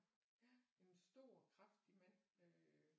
Ja en stor kraftig mand med